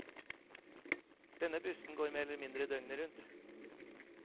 Denne bussen går mer eller mindre døgnet rundt.